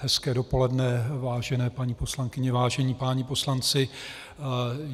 Hezké dopoledne, vážené paní poslankyně, vážení páni poslanci.